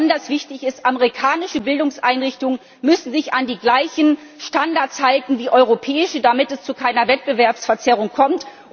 Was besonders wichtig ist Amerikanische Bildungseinrichtungen müssen sich an die gleichen Standards halten wie europäische, damit es zu keiner Wettbewerbsverzerrung kommt.